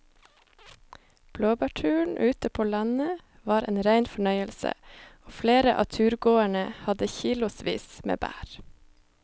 Blåbærturen ute på landet var en rein fornøyelse og flere av turgåerene hadde kilosvis med bær.